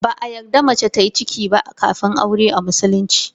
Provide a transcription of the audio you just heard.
Ba a yarda mace tayi ciki ba kafin aure a musulunci.